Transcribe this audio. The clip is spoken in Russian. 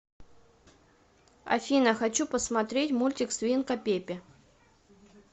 афина хочу посмотреть мультик свинка пепе